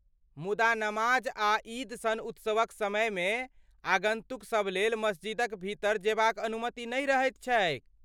मुदा नमाज आ ईद सन उत्सवक समयमे आगन्तुकसभ लेल मस्जिदक भीतर जेबाक अनुमति नहि रहैत छैक।